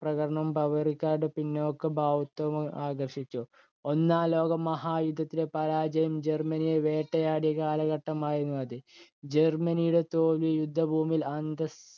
ബവേറിയക്കാരുടെ പിന്നാക്കഭാവുകത്വത്തെ ആകർഷിച്ചു. ഒന്നാം ലോകമഹായുദ്ധത്തിലെ പരാജയം ജർമനിയെ വേട്ടയാടിയ കാലഘട്ടമായിരുന്നു അത്. ജർമനിയുടെ തോൽവി യുദ്ധഭൂമിയിലെ അന്തസ്സ്